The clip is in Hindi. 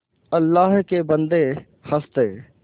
अल्लाह के बन्दे हंस दे